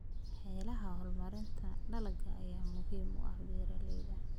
Xeeladaha horumarinta dalagga ayaa muhiim u ah beeralayda.